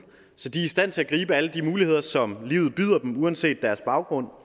så de stand til at gribe alle de muligheder som livet byder dem uanset deres baggrund